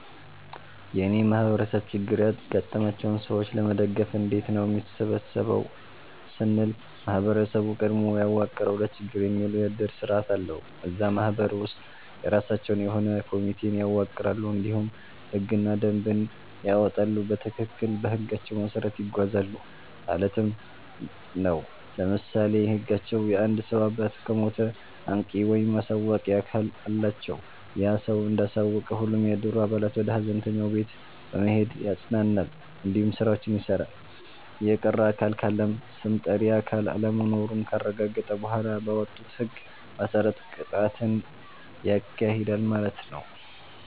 የእኔ ማህበረሰብ ችግር ያጋጠማቸውን ሰዎች ለመደገፍ እንዴት ነው የሚሰበሰበው ስንል ማህበረሰቡ ቀድሞ ያዋቀረዉ ለችግር የሚዉል የዕድር ስርዓት አለዉ። እዛ ማህበር ውስጥ የራሳቸዉ የሆነ ኮሚቴን ያዋቅራሉ እንዲሁም ህግና ደንብን ያወጣሉ በትክክል በህጋቸዉ መሰረት ይጓዛሉ ማለት ነዉ። ለምሳሌ ህጋቸዉ የአንድ ሰዉ አባት ከሞተ አንቂ(አሳዋቂ)አካል አላቸዉ ያ ሰዉ እንዳሳወቀ ሁሉም የዕድሩ አባላት ወደ ሀዘንተኛዉ ቤት በመሄድ ያፅናናል እንዲሁም ስራዎችን ይሰራል። የቀረ አካል ካለም ስም ጠሪ አካል አለመኖሩን ካረጋገጠ በኋላ ባወጡት ህግ መሰረት ቅጣትን ያካሂዳል ማለት ነዉ።